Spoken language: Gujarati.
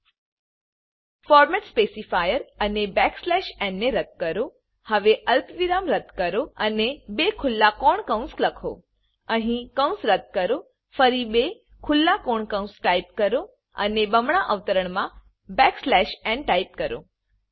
ફોર્મેટ સ્પેસિફાયર ફોર્મેટ સ્પેસી ફાયરઅને backslash n backslash એનને રદ કરો હવે અલ્પવિરામ રદ કરો અને બે ખુલ્લા કોણ કૌંસ લખો અહી કૌંસ રદ કરોફરી બે ખુલ્લા કોણ કૌંસ ટાઈપ કરો અને બમણા અવતરણ માં બેક સ્લેશ ન ટાઈપ કરો